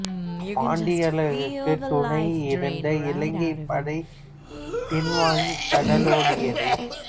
பாண்டியர்களுக்கு துணை இருந்த இலங்கைப் படை பின் வாங்கி கடலோடியது